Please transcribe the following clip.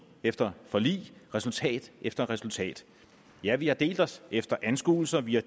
efter forlig resultat efter resultat ja vi har delt os efter anskuelser vi har